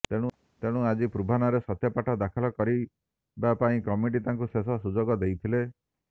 ତେଣୁ ଆଜି ପୂର୍ବାହ୍ନରେ ସତ୍ୟପାଠ ଦାଖଲ କରିବା ପାଇଁ କମିଟି ତାଙ୍କୁ ଶେଷ ସୁଯୋଗ ଦେଇଥିଲେ